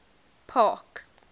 park